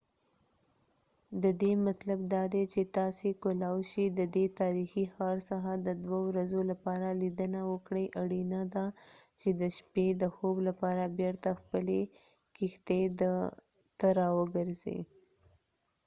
ددی مطلب دادی چی تاسی کولای شی ددی تاریخی ښار څخه د دوه ورځو لپاره لیدنه وکړئ اړینه ده چی د شپی د خوب لپاره بیرته خپلی کښتۍ ته راوګرځئ